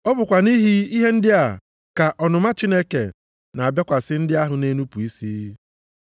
Ọ bụkwa nʼihi ihe ndị a ka ọnụma Chineke na-abịakwasị ndị ahụ na-enupu isi.